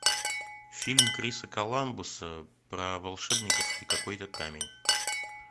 фильм криса коламбуса про волшебников и какой то камень